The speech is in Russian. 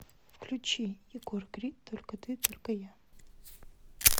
включи егор крид только ты только я